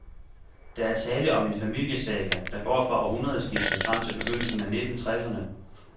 Der er tale om en familiesaga, der går fra århundredeskiftet frem til begyndelsen af nitten treserne.